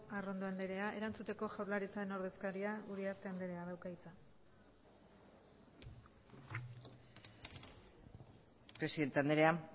arrondo andrea erantzuteko jaurlaritzaren ordezkaria uriarte andreak dauka hitza presidente andrea